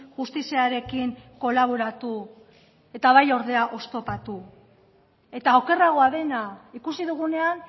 justiziarekin kolaboratu eta bai ordea oztopatu eta okerragoa dena ikusi dugunean